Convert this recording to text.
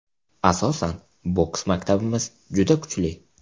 Asosan, boks maktabimiz juda kuchli.